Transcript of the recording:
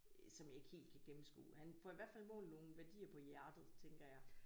Øh som jeg ikke helt kan gennemskue han får i hvert fald målt nogle værdier på hjertet tænker jeg